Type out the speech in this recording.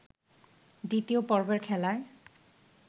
দ্বিতীয় পর্বের খেলায়